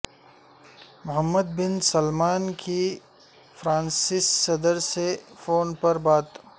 محمد bin Salman کی فرانسیسی صدر سے فون پر بات